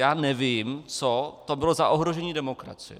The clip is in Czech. Já nevím, co to bylo za ohrožení demokracie.